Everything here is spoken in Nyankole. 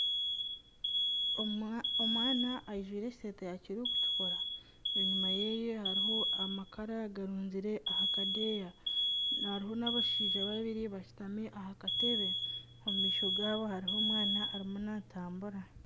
Omwana ajwaire ekiteteyi kiri kutukura. Enyima yeye hariho amakara agarunzire aha kadeeya. Hariho n'abashaija babiri bashutami aha katebe. Omu maisho gaabo hariho omwana natambura.